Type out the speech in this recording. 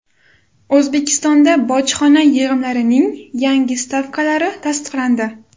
O‘zbekistonda bojxona yig‘imlarining yangi stavkalari tasdiqlandi.